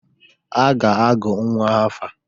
A ga-agụ nnwa afa.